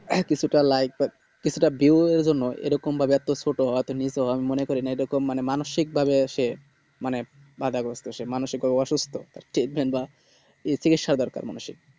হ্যাঁ কিছুটা like বা কিছুটা view এর জন্য এরকম বা ছোট বা নিচু মনেকরেন এই রকম মানুষিক ভাবে সে মানে বাধাগ্রস্থ মানুষিক ভাবে অসুস্থ তার treatment বা চিকিস্যা দরকার মানুষিক